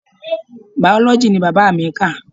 Biology ni bàbá mi kà.